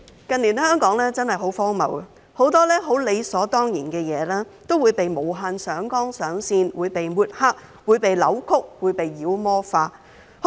近年香港真的很荒謬，很多十分理所當然的事都會被無限上綱上線、被抹黑、被扭曲和被妖魔化。